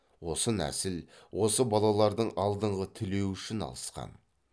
осы нәсіл осы балалардың алдыңғы тілеуі үшін алысқан